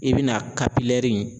I bɛna